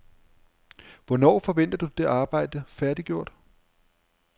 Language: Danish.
Hvornår forventer du det arbejde færdiggjort?